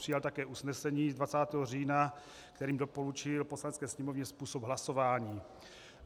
Přijal také usnesení z 20. října, kterým doporučil Poslanecké sněmovně způsob hlasování.